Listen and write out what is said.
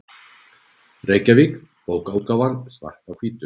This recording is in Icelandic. Reykjavík: Bókaútgáfan Svart á hvítu.